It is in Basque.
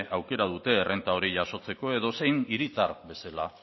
aukera dute errenta hori jasotzeko edozein hiritar bezala